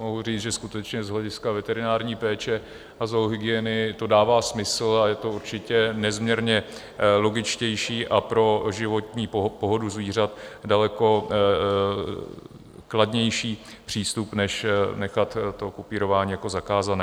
Mohu říct, že skutečně z hlediska veterinární péče a zoohygieny to dává smysl a je to určitě nezměrně logičtější a pro životní pohodu zvířat daleko kladnější přístup než nechat to kupírování jako zakázané.